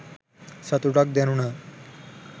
සතුටක් දැනුණා